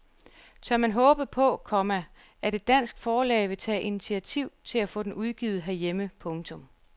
Tør man håbe på, komma at et dansk forlag vil tage initiativ til at få den udgivet herhjemme. punktum